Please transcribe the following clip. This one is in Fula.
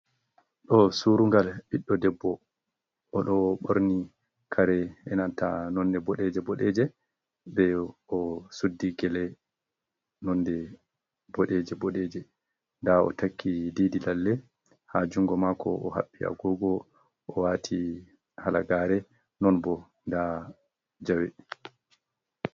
Ɗo surungal biɗɗo debbo, o ɗo ɓorni kare enanta nonnde boɗeje boɗeje, ɓeɗo suddi gele nonnde boɗeje boɗeje, nda o takki diidi lalle ha junngo mako, o haɓɓi agogo o wati halagare non bo nda jawe.